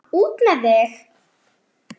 Svona, út með þig!